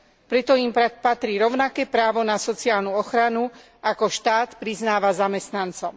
Preto im patrí rovnaké právo na sociálnu ochranu, ako štát priznáva zamestnancom.